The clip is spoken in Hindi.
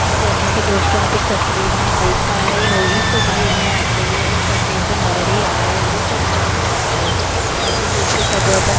तो जैसा की दोस्तों आप इस तस्वीर में देख पा रहे हो इस तस्वीर में आपको ये एक तस्वीर तो नजर ही आ रही होगी यह तस्वीर में आपको पर --